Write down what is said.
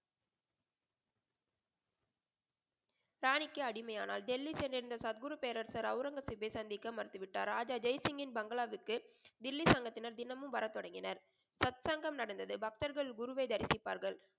ராணிக்கு அடிமை ஆனார். டெல்லிக்கு சென்று இருந்த சத்குரு பேரரசர்அவுரங்கசீப்பை சந்திக்க மறுத்துவிட்டார். ராஜா ஜெய் சிங்க்யின் பங்களாவிற்கு டெல்லி சங்கத்தினர் தினமும் வர தொடங்கினர். சத் சங்கம் நடந்தது. பக்தர்கள் குருவை தரிசிப்பார்கள்.